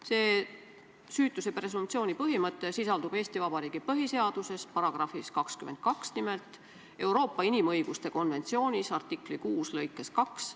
See süütuse presumptsiooni põhimõte sisaldub Eesti Vabariigi põhiseaduses, §-s 22 nimelt, ja Euroopa inimõiguste konventsiooni artikli 6 lõikes 2.